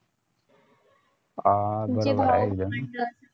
अं बरोबर